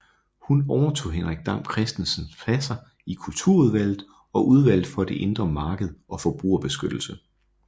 Hun overtog Henrik Dam Kristensens pladser i Kulturudvalget og Udvalget for det Indre Marked og Forbrugerbeskyttelse